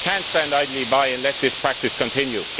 We cannot stand idly by and let this practice continue.